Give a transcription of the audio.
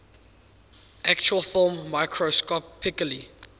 actual film microscopically